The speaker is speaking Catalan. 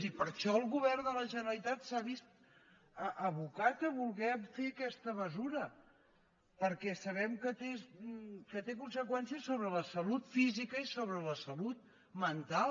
i per això el govern de la generalitat s’ha vist abocat a voler fer aquesta mesura perquè sabem que té conseqüències sobre la salut física i sobre la salut mental